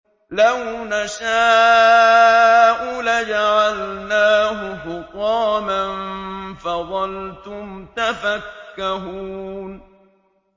لَوْ نَشَاءُ لَجَعَلْنَاهُ حُطَامًا فَظَلْتُمْ تَفَكَّهُونَ